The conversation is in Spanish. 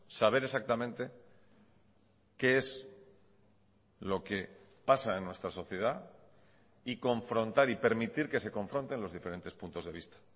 saber exactamente qué es lo que pasa en nuestra sociedad y confrontar y permitir que se confronten los diferentes puntos de vista